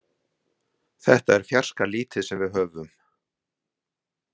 Þetta er fjarska lítið sem við höfum.